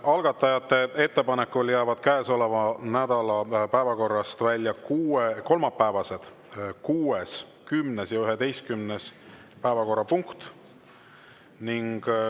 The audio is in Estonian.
Algatajate ettepanekul jäävad käesoleva nädala päevakorrast välja kolmapäeva kuues, kümnes ja 11. päevakorrapunkt.